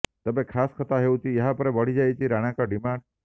ତେବେ ଖାସ୍ କଥା ହେଉଛି ଏହା ପରେ ବଢିଯାଇଛି ରାଣାଙ୍କ ଡିମାଣ୍ଡ